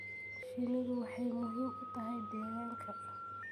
Shinnidu waxay muhiim u tahay deegaanka.